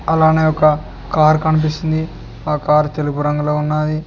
అలానే ఒక కార్ కనిపిస్తుంది ఆ కార్ తెలుపు రంగులో ఉన్నది.